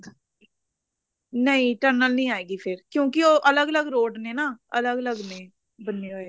ਨਹੀਂ tunnel ਨੀ ਆਏਗੀ ਕਿਉਂਕਿ ਉਹ ਅਲੱਗ ਅਲੱਗ road ਨੇ ਨਾ ਅਲੱਗ ਅਲੱਗ ਨੇ ਬਣੇ ਹੋਏ